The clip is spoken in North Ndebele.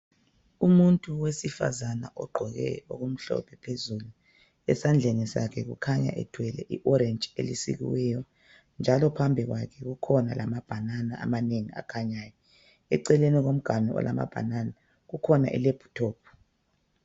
Umuntu wesifazana ogqoke okumhlophe phezulu, esandleni sakhe kukhanya ethwele i orange elisikiweyo njalo phambi kwakhe kukhona lamabanana amanengi akhanyayo. Eceleni komganu olamabanana kukhona ilephuthophu.